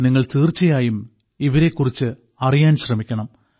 നിങ്ങൾ തീർച്ചയായും ഇവരെകുറിച്ച് അറിയാൻ ശ്രമിക്കണം